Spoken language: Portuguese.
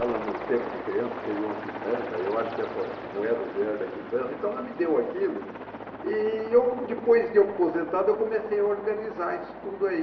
Ela no tempo de criança teve uma quitanda, eu acho que essas moedas vieram da quitanda, então ela me deu aquilo e eu depois de aposentado eu comecei a organizar isso tudo aí.